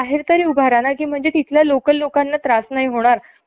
भांडवा बल दार तयार नसत. त्यांच्या मते सामान्य भारतीय कामगार अशिक्षित काम